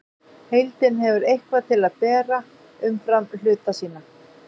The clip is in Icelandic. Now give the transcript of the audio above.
Heildin hefur eitthvað til að bera umfram hluta sína.